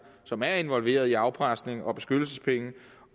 som er involveret i afpresning og beskyttelsespenge